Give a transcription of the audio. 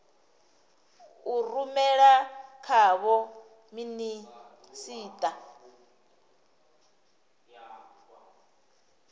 a rumela kha vho minisita